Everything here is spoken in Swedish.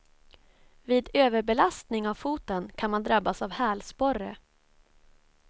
Vid överbelastning av foten kan man drabbas av hälsporre.